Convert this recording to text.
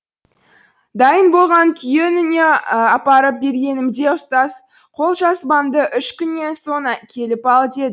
дайын болған күні үйіне апарып бергенімде ұстаз қолжазбаңды үш күннен соң келіп ал